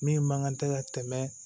Min man kan tɛ ka tɛmɛ